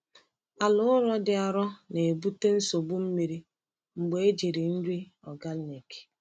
Ala ụrọ dị arọ na-ebute nsogbu mmiri mgbe ejiri nri organic.